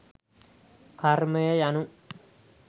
කර්මය යනු